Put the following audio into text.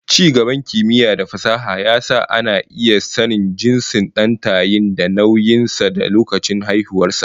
Ci gaban kimiyya da fasaha ya sa ana iya sanin jinsin dan tayi da nauyin sa da lokacin haihuwar sa